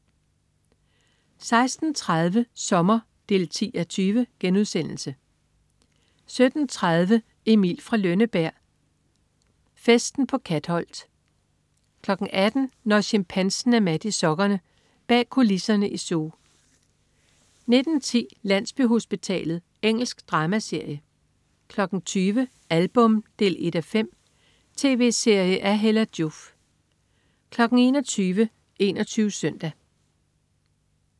16.30 Sommer 10:20* 17.30 Emil fra Lønneberg. Festen på Katholt 18.00 Når chimpansen er mat i sokkerne. Bag kulisserne i zoo 19.10 Landsbyhospitalet. Engelsk dramaserie 20.00 Album 1:5. Tv-serie af Hella Joof 21.00 21 Søndag